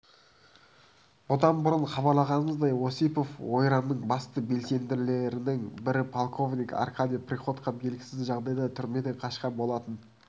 бұдан бұрын хабарлағанымыздай осипов ойранының басты белсенділерінің бірі полковник аркадий приходько белгісіз жағдайда түрмеден қашқан болатын